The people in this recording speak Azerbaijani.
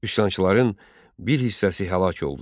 Üsyançıların bir hissəsi həlak oldu.